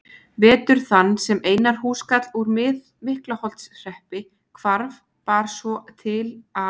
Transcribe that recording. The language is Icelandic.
Vetur þann sem Einar húskarl úr Miklaholtshreppi hvarf bar svo til að